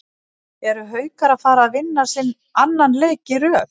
ERU HAUKAR AÐ FARA AÐ VINNA SINN ANNAN LEIK Í RÖÐ???